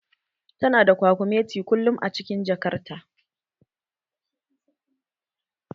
Tana da kwakumeti kullum a cikin jakar ta